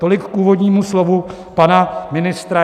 Tolik k úvodnímu slovu pana ministra.